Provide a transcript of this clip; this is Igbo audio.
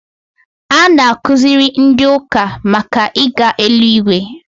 A na-akuziri ndị ụka màkà ịga eluigwe